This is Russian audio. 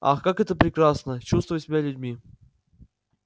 ах как это прекрасно чувствовать себя людьми